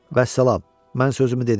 Vəssalam, mən sözümü dedim.